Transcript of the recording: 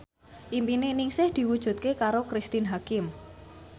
impine Ningsih diwujudke karo Cristine Hakim